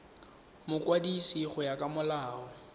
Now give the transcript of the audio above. mokwadisi go ya ka molao